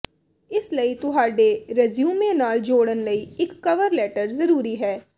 ਇਸ ਲਈ ਤੁਹਾਡੇ ਰੈਜ਼ਿਊਮੇ ਨਾਲ ਜੋੜਨ ਲਈ ਇਕ ਕਵਰ ਲੈਟਰ ਜ਼ਰੂਰੀ ਹੈ